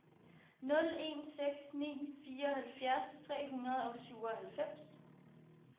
nul en seks ni fireoghalvfjerds tre hundrede og syvoghalvfems